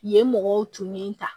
Yen mɔgɔw tun ye n ta